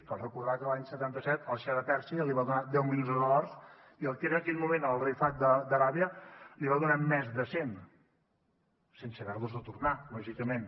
cal recordar que l’any setanta set el xa de pèrsia li va donar deu milions de dòlars i el que era en aquell moment el rei fahd d’aràbia n’hi va donar més de cent sense haver los de tornar lògicament